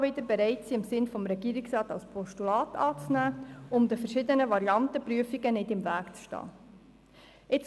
Wir sind jedoch bereit, sie im Sinne des Regierungsrats als Postulat anzunehmen, um der Prüfung der verschiedenen Varianten nicht im Weg zu stehen.